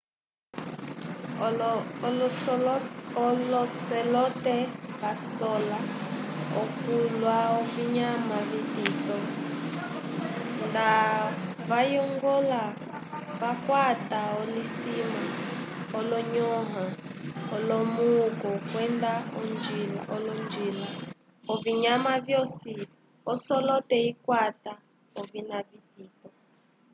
olocelote vasola okulya ovinyama vitito ndavayongola vakwata olosima olonyõha olomuku kwenda olonjila ovinyama vyosi ocelote ikwata ovinya vitito